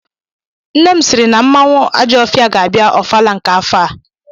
Nne m sịịrị na m anwụ Ajọfia ga-abịa ọfala nke afọ a.